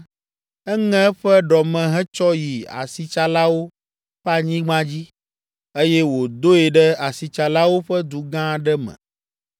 eŋe eƒe ɖɔme hetsɔ yi asitsalawo ƒe anyigba dzi, eye wòdoe ɖe asitsalawo ƒe du gã aɖe me.